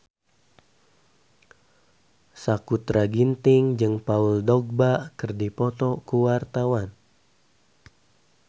Sakutra Ginting jeung Paul Dogba keur dipoto ku wartawan